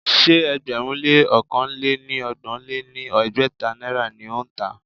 Ṣé ẹgbẹ̀rún lé ọ̀kan lé ní ọgbọ̀n lé ní ẹgbẹ́ta náírà ni ó ń tà á?